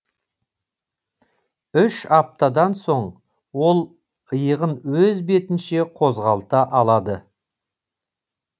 үш аптадан соң ол иығын өз бетінше қозғалта алады